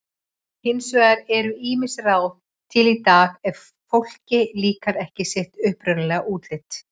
Hins vegar eru ýmis ráð til í dag ef fólki líkar ekki sitt upprunalega útlit.